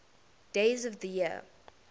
days of the year